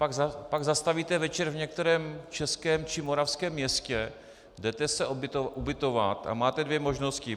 Pak zastavíte večer v některém českém či moravském městě, jdete se ubytovat a máte dvě možnosti.